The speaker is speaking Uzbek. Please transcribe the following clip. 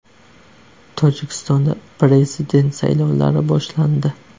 Tojikistonda prezident saylovlari boshlandi.